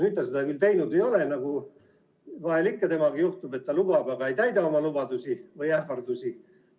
Ta seda teinud ei ole – nagu vahel ikka temaga juhtub, et ta lubab, aga ei täida oma lubadusi või ähvardusi.